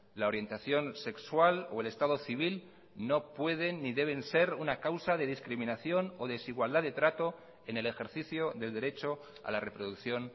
la orientación sexual o el estado civil no pueden ni deben ser una causa de discriminación o desigualdad de trato en el ejercicio del derecho a la reproducción